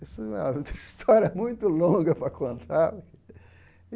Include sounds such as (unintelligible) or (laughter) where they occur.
Isso é (unintelligible) história (laughs) muito longa para contar.